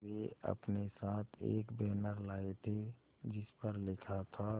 वे अपने साथ एक बैनर लाए थे जिस पर लिखा था